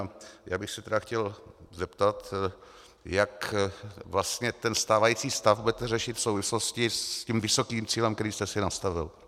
A já bych se tedy chtěl zeptat, jak vlastně ten stávající stav budete řešit v souvislosti s tím vysokým cílem, který jste si nastavil.